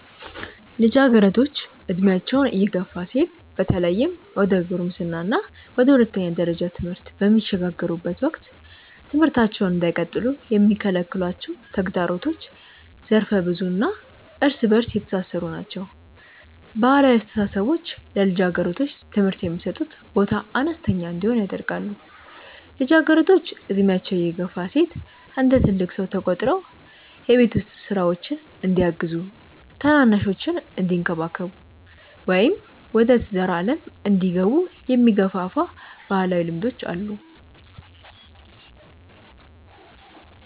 ልጃገረዶች ዕድሜያቸው እየገፋ ሲሄድ በተለይም ወደ ጉልምስና እና ወደ ሁለተኛ ደረጃ ትምህርት በሚሸጋገሩበት ወቅት ትምህርታቸውን እንዳይቀጥሉ የሚከለክሏቸው ተግዳሮቶች ዘርፈ-ብዙ እና እርስ በእርስ የተሳሰሩ ናቸው። ባህላዊ አስተሳሰቦች ለልጃገረዶች ትምህርት የሚሰጡት ቦታ አነስተኛ እንዲሆን ያደርጋሉ። ልጃገረዶች ዕድሜያቸው እየገፋ ሲሄድ እንደ ትልቅ ሰው ተቆጥረው የቤት ውስጥ ሥራዎችን እንዲያግዙ፣ ታናናሾቻቸውን እንዲንከባከቡ ወይም ወደ ትዳር ዓለም እንዲገቡ የሚገፋፉ ባህላዊ ልማዶች አሉ።